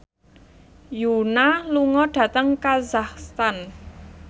Yoona lunga dhateng kazakhstan